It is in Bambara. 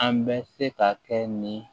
An bɛ se ka kɛ nin